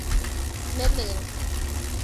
Ne leel.